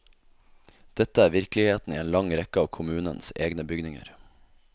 Dette er virkeligheten i en lang rekke av kommunens egne bygninger.